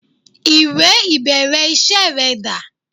Ìwẹ̀ ìbẹ̀rẹ̀ iṣẹ́ rẹ dà?